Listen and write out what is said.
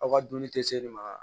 Aw ka dumuni tɛ se ne ma